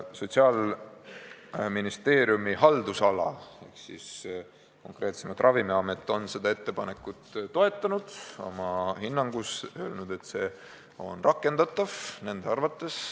Sotsiaalministeeriumi haldusalas tegutsev Ravimiamet on seda ettepanekut oma hinnangus toetanud ja öelnud, et see on nende arvates rakendatav.